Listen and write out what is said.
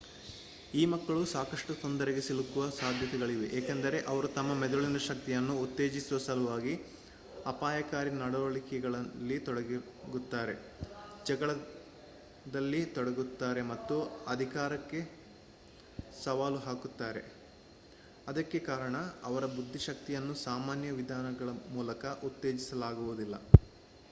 ಈ ಮಕ್ಕಳು ಸಾಕಷ್ಟು ತೊಂದರೆಗೆ ಸಿಲುಕುವ ಸಾಧ್ಯತೆಗಳಿವೆ ಏಕೆಂದರೆ ಅವರು ತಮ್ಮ ಮೆದುಳಿನ ಶಕ್ತಿಯನ್ನು ಉತ್ತೇಜಿಸುವ ಸಲುವಾಗಿ ಅಪಾಯಕಾರಿ ನಡವಳಿಕೆಗಳಲ್ಲಿ ತೊಡಗುತ್ತಾರೆ ಜಗಳದಲ್ಲಿ ತೊಡಗುತ್ತಾರೆ ಮತ್ತು ಅಧಿಕಾರಕ್ಕೆ ಸವಾಲು ಹಾಕುತ್ತಾರೆ ಅದಕ್ಕೆ ಕಾರಣ ಅವರ ಬುದ್ದಿಶಕ್ತಿಯನ್ನು ಸಾಮಾನ್ಯ ವಿಧಾನಗಳ ಮೂಲಕ ಉತ್ತೇಜಿಸಲಾಗುವುದಿಲ್ಲ